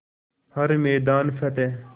हर मैदान फ़तेह